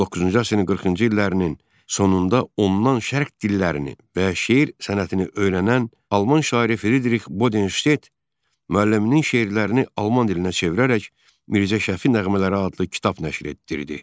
19-cu əsrin 40-cı illərinin sonunda ondan şərq dillərini və şeir sənətini öyrənən Alman şairi Fridrix Bodenşted müəlliminin şeirlərini alman dilinə çevirərək Mirzə Şəfi nəğmələri adlı kitab nəşr etdirirdi.